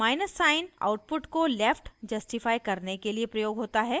minus sign output को left justify करने के लिए प्रयोग होता है